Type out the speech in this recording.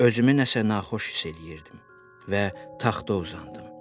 Özümü nəsə naxoş hiss eləyirdim və taxta uzandım.